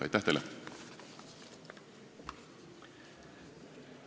Aitäh teile!